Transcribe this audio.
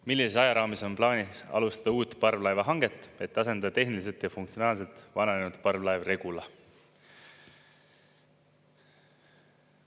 "Millises ajaraamis on plaanis alustada uut parvlaevahanget, et asendada tehniliselt ja funktsionaalselt vananenud parvlaev Regula?